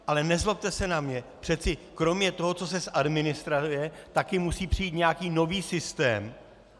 Ale nezlobte se na mě, přeci kromě toho, co se zadministruje, taky musí přijít nějaký nový systém.